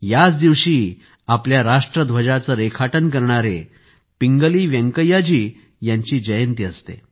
याच दिवशी आपल्या राष्ट्रध्वजाचे रेखाटन करणाऱ्या पिंगली व्यंकय्या जी यांची जयंती देखील असते